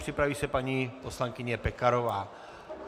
Připraví se paní poslankyně Pekarová.